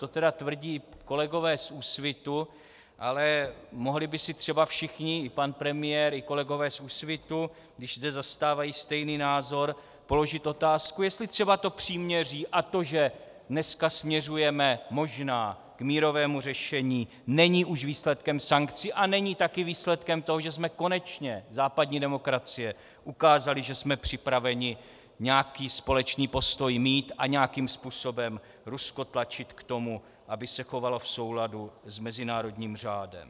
To tedy tvrdí kolegové z Úsvitu, ale mohli by si třeba všichni, i pan premiér i kolegové z Úsvitu, když zde zastávají stejný názor, položit otázku, jestli třeba to příměří a to, že dnes směřujeme možná k mírovému řešení, není už výsledkem sankcí a není také výsledkem toho, že jsme konečně západní demokracii ukázali, že jsme připraveni nějaký společný postoj mít a nějakým způsobem Rusko tlačit k tomu, aby se chovalo v souladu s mezinárodním řádem.